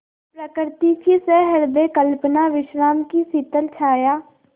प्रकृति की सहृदय कल्पना विश्राम की शीतल छाया